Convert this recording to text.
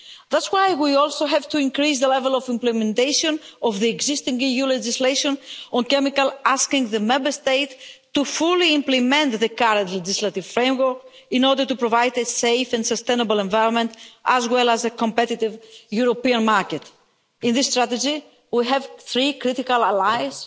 That's why we also have to increase the level of implementation of the existing EU legislation on chemicals, asking the Member States to fully implement the current legislative framework in order to provide a safe and sustainable environment as well as a competitive European market. In this strategy, we have three critical allies